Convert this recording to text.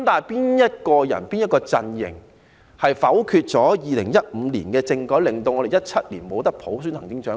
然而，是誰和哪個陣營否決了2015年的政改方案，令我們不能在2017年普選行政長官？